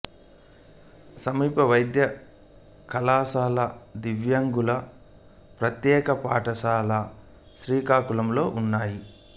సమీప వైద్య కళాశాల దివ్యాంగుల ప్రత్యేక పాఠశాల శ్రీకాకుళం లో ఉన్నాయి